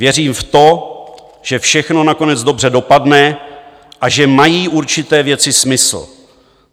Věřím v to, že všechno nakonec dobře dopadne a že mají určité věci smysl.